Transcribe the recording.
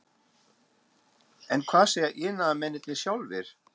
En hvað segja iðnaðarmennirnir sjálfir?